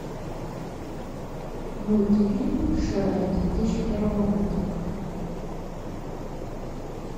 мультфильм шрек две тысячи первого года